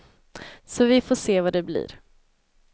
Så vi får se vad det blir.